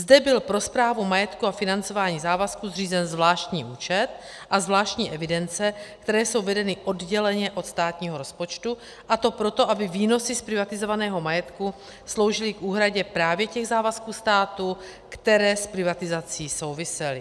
Zde byl pro správu majetku a financování závazků zřízen zvláštní účet a zvláštní evidence, které jsou vedeny odděleně od státního rozpočtu, a to proto, aby výnosy z privatizovaného majetku sloužily k úhradě právě těch závazků státu, které s privatizací souvisely.